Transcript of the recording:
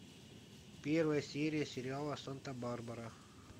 первая серия сериала санта барбара